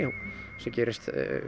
sem gerist